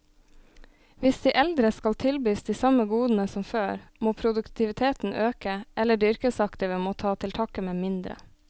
Hvis de eldre skal tilbys de samme godene som før, må produktiviteten øke, eller de yrkesaktive må ta til takke med mindre.